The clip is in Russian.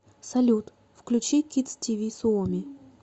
салют включи кидс ти ви суоми